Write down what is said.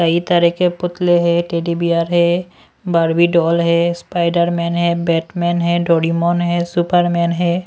कई तरह के पुतले है टेडी बियर है बार्बी डॉल है स्पाइडरमन है बैटमन है डोरीमन है सुपरमन है।